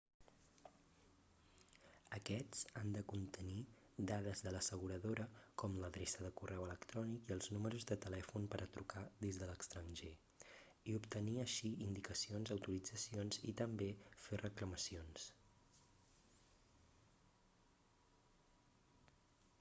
aquests han de contenir dades de l'asseguradora com l'adreça de correu electrònic i els números de telèfon per a trucar des de l'extranjer i obtenir així indicacions/autoritzacions i també fer reclamacions